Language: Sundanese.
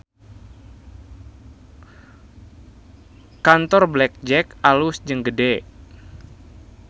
Kantor Black Jack alus jeung gede